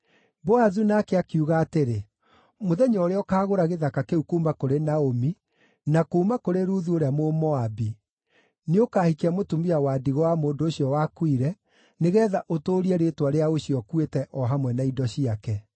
Boazu nake akiuga atĩrĩ, “Mũthenya ũrĩa ũkaagũra gĩthaka kĩu kuuma kũrĩ Naomi, na kuuma kũrĩ Ruthu ũrĩa Mũmoabi, nĩũkahikia mũtumia wa ndigwa wa mũndũ ũcio wakuire, nĩgeetha ũtũũrie rĩĩtwa rĩa ũcio ũkuĩte o hamwe na indo ciake.”